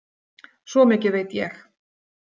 Svo mikið veit ég.